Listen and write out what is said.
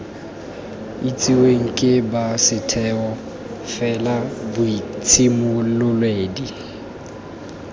itsiweng ke ba setheo felaboitshimololedi